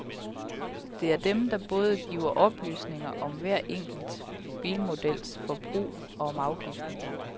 Det er dem, der både giver oplysninger om hver enkelt bilmodels forbrug og om afgiften.